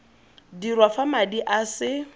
dirwa fa madi a se